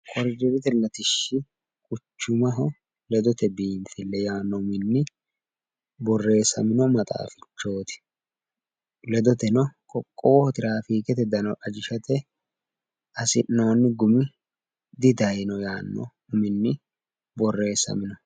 Ayyerete Latishshi quchumaati ledote biinfille yaanno uminni borressamino maxaafichooti. Ledoteno qoqqowoho tiraafiikete dano ajishate hasi'noonni gumi didayino yaanno uminni borressamino.